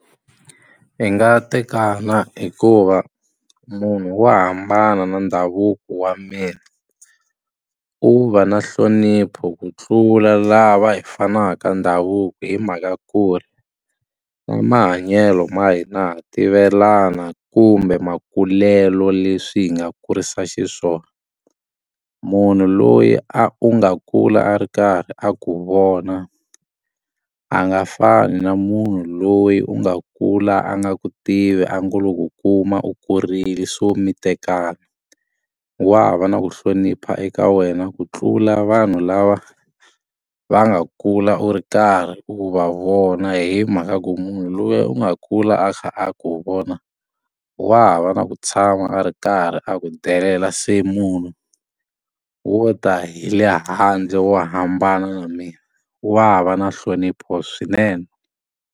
Hi nga tekana hikuva munhu wo hambana na ndhavuko wa mina u va na nhlonipho ku tlula lava hi fanaka ndhavuko hi mhaka ku ri na mahanyelo ma hina ha tivelana kumbe makulelo leswi hi nga kurisa xiswona munhu loyi a u nga kula a ri karhi a ku vona a nga fani na munhu loyi u nga kula a nga ku tivi a ngo lo ku kuma u kurile so mi tekana wa va na ku hlonipha eka wena ku tlula vanhu lava va nga kula u ri karhi u va vona hi mhaka ya ku munhu loyi u nga kula a kha a ku wu vona wa ha va na ku tshama a ri karhi a ku delela se munhu wo ta hi le handle wo hambana na mina wa va na nhlonipho swinene.